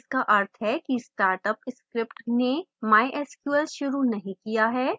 इसका अर्थ है कि startup script ने mysql शुरू नहीं किया